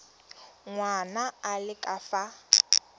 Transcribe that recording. ngwana a le ka fa